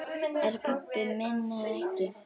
Er hann pabbi minn eða ekki?